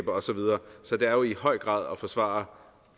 og så videre så det er jo i høj grad at forsvare